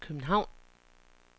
København